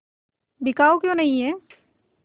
बिकाऊ क्यों नहीं है